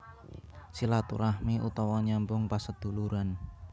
Silaturahmi utawa nyambung paseduluran